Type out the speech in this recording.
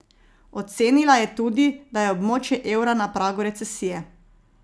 Ocenila je tudi, da je območje evra na pragu recesije.